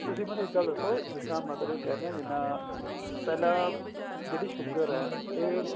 ਤੁਸੀਂ ਮੈਨੂੰ ਇੱਦਾ ਦੱਸੋ ਜਿੱਦਾ ਮਤਲਬ ਕਹਿਨੇ ਆ ਜਿੱਦਾ ਪਹਿਲਾਂ ਜਿਹੜੀ sugar ਏ ਇਹ